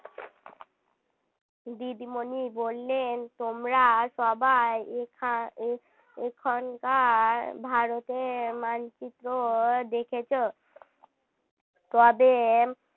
দিদিমণি বললেন তোমরা সবাই এখা~ এখানকার ভারতের মানচিত্র দেখেছ তবে